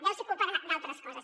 deu ser culpa d’altres coses